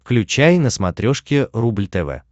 включай на смотрешке рубль тв